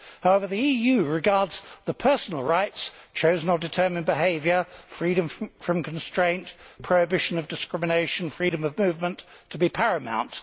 However, the EU regards the personal rights chosen or determined behaviour, freedom from constraint, prohibition of discrimination, freedom of movement to be paramount.